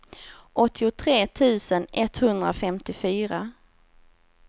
åttiotre tusen etthundrafemtiofyra